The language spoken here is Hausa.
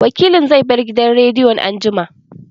Wakilin zai bar gidan rediyon anjima